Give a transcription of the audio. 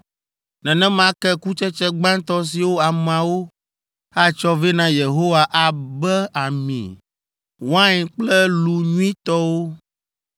“Nenema ke kutsetse gbãtɔ siwo ameawo atsɔ vɛ na Yehowa abe ami, wain kple lu nyuitɔwo